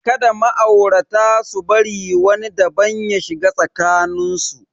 Kada ma'aurata su bari wani daban ya shiga tsakanin su.